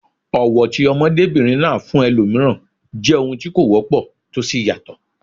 Ọ̀wọ̀ tí ọmọdébìnrin náà ní fún ẹlòmíràn jẹ́ ohun tí kò wọ́pọ̀ tó sì tayọ.